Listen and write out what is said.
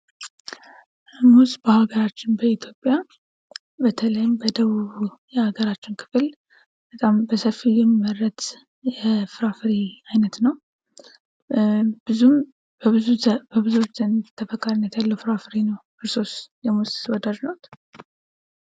ሙዝ በሀገራችን በኢትዮጵያ በተለይ በደቡብ የሀገራችን ክፍል በጣም በሰፊው የሚመረት የፍራፍሬ አይነት ነው በብዙዎች ዘንድ ተፈቃሪነት ያለው የፍራፍሬ አይነት ነው። እርሶስ የሙዝ ወዳጅነት ኖት?